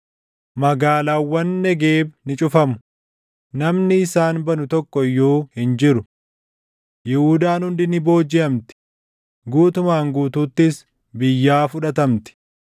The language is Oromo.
Magaalaawwan Negeeb ni cufamu; namni isaan banu tokko iyyuu hin jiru. Yihuudaan hundi ni boojiʼamti; guutumaan guutuuttis biyyaa fudhatamti.